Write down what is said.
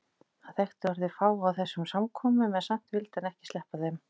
Hann þekkti orðið fáa á þessum samkomum en samt vildi hann ekki sleppa þeim.